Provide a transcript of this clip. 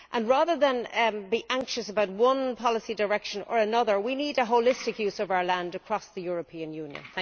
Rather than be anxious about one policy direction or another, we need a holistic use of our land, across the European Union.